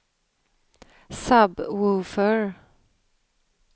sub-woofer